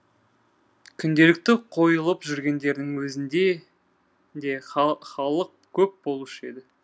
күнделікті қойылып жүргендерінің өзінде де халық көп болушы еді